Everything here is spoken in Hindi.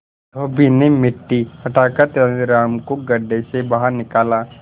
धोबी ने मिट्टी हटाकर तेनालीराम को गड्ढे से बाहर निकाला